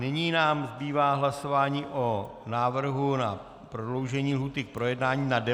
Nyní nám zbývá hlasování o návrhu na prodloužení lhůty k projednání na 90 dnů.